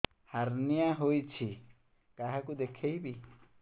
hernia ହୋଇଛି କାହାକୁ ଦେଖେଇବି